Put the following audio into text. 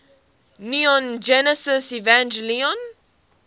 neon genesis evangelion